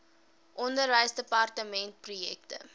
onderwysdepartementprojekte